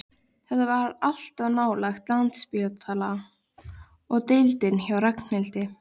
Þetta var allt of nálægt Landspítala og deildinni hjá Ragnhildi.